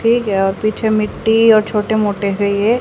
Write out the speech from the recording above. ठीक है और पीछे मिट्टी और छोटे मोटे से ये--